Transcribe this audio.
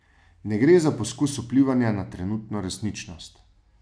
Ne gre za poskus vplivanja na trenutno resničnost.